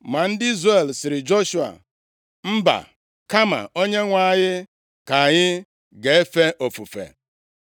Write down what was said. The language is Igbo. Ma ndị Izrel sịrị Joshua, “Mba, kama Onyenwe anyị ka anyị ga-efe ofufe.”